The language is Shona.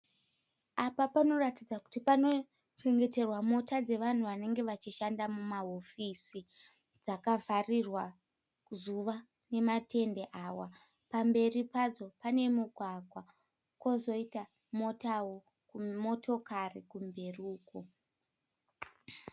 Apa panoratidza kuti panochengeterwa mota dzevanhu vanenge vachishanda mumahofisi dzakavharirwa zuva nematende awa. Pamberi padzo pane mugwagwa kwozoita motokari kumberi uko.